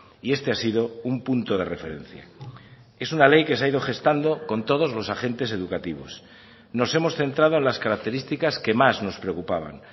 y este ha sido un punto de referencia es una ley que se ha ido gestando con todos los agentes educativos nos hemos centrado en las características que más nos preocupaban